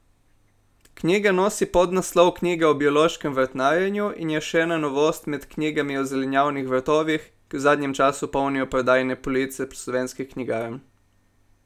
Knjiga nosi podnaslov Knjiga o biološkem vrtnarjenju in je še ena novost med knjigami o zelenjavnih vrtovih, ki v zadnjem času polnijo prodajne police slovenskih knjigarn.